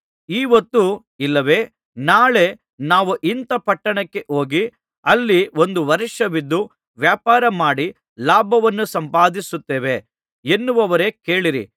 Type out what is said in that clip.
ಈಹೊತ್ತು ಇಲ್ಲವೆ ನಾಳೆ ನಾವು ಇಂಥ ಪಟ್ಟಣಕ್ಕೆ ಹೋಗಿ ಅಲ್ಲಿ ಒಂದು ವರ್ಷವಿದ್ದು ವ್ಯಾಪಾರ ಮಾಡಿ ಲಾಭವನ್ನು ಸಂಪಾದಿಸುತ್ತೇವೆ ಎನ್ನುವವರೇ ಕೇಳಿರಿ